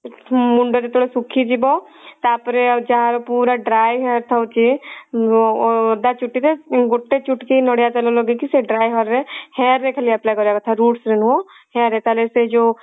ମୁଣ୍ଡ ଯେତେବେଳେ ଶୁଖିଯିବ ତାପରେ ଆଉ ଯାହାର ପୁରା dry hair ଥାଉଛି ଅ ଓଦା ଚୁଟି ରେ ଗୋଟେ ଚୁଟକି ନଡିଆ ତେଲ ଲଗେଇକି ସେ dry hair ରେ hair ରେ ଖାଲି apply କରିବା କଥା roots ରେ ନୁହଁ hair ରେ ତାହେଲେ ସେ ଯଉ